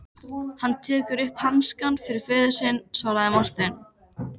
Hann tekur upp hanskann fyrir föður sinn, svaraði Marteinn.